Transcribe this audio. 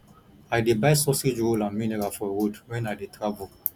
i dey buy sausage roll and mineral for road wen i dey travel